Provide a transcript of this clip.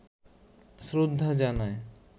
শ্রদ্ধা জানায়